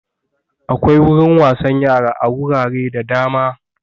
Akwai wurin wasan yara a wurare da dama